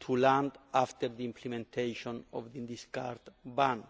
to land after the implementation of the discard ban.